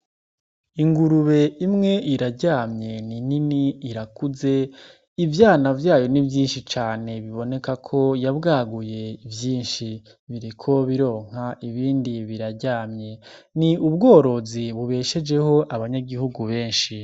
Ingurube imwe iraryamye ni nini irakuze ivyana vyayo nivyinshi cane biboneka ko yabwaguye ivyinshi bireko bironka ibindi biraryamye ni ubworozi bubeshejeho abanyagihugu benshi.